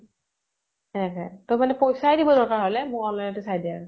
সেয়ে । তʼ পইছা দিব দৰকাৰ হʼলে, মোক online তে চাই দে আৰু